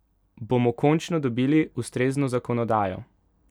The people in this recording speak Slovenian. Bomo končno dobili ustrezno zakonodajo?